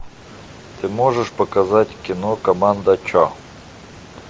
ты можешь показать кино команда че